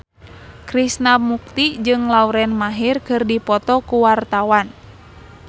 Krishna Mukti jeung Lauren Maher keur dipoto ku wartawan